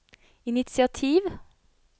initiativ